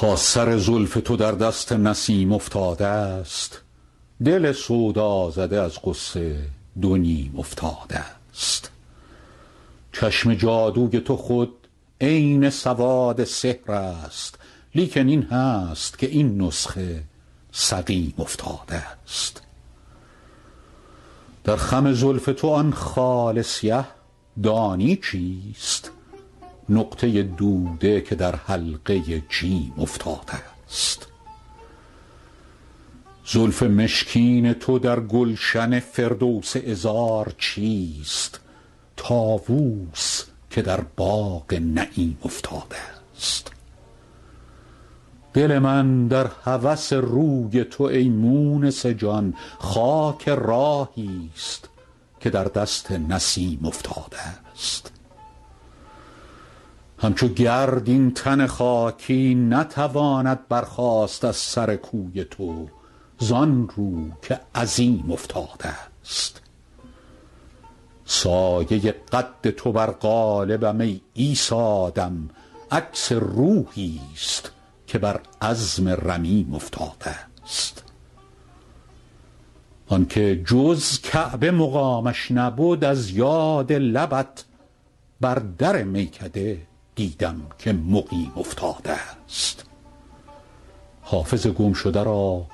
تا سر زلف تو در دست نسیم افتادست دل سودازده از غصه دو نیم افتادست چشم جادوی تو خود عین سواد سحر است لیکن این هست که این نسخه سقیم افتادست در خم زلف تو آن خال سیه دانی چیست نقطه دوده که در حلقه جیم افتادست زلف مشکین تو در گلشن فردوس عذار چیست طاووس که در باغ نعیم افتادست دل من در هوس روی تو ای مونس جان خاک راهیست که در دست نسیم افتادست همچو گرد این تن خاکی نتواند برخاست از سر کوی تو زان رو که عظیم افتادست سایه قد تو بر قالبم ای عیسی دم عکس روحیست که بر عظم رمیم افتادست آن که جز کعبه مقامش نبد از یاد لبت بر در میکده دیدم که مقیم افتادست حافظ گمشده را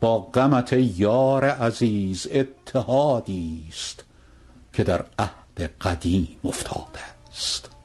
با غمت ای یار عزیز اتحادیست که در عهد قدیم افتادست